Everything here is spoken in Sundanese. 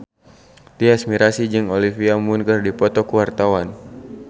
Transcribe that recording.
Tyas Mirasih jeung Olivia Munn keur dipoto ku wartawan